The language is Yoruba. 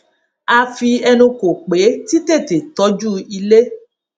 a fi ẹnu kò pẹ títètè tójú ilé